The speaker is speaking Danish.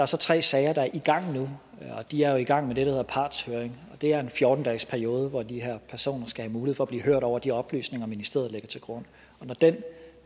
så tre sager der er i gang nu og de er jo i gang med det der hedder partshøring og det er en fjorten dagesperiode hvor de her personer skal have mulighed for at blive hørt over de oplysninger som ministeriet lægger til grund og når den